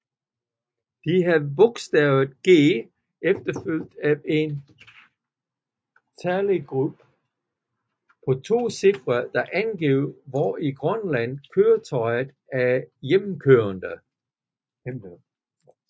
De havde bogstavet G efterfulgt af en talgruppe på to cifre der angav hvor i Grønland køretøjet er hjemmehørende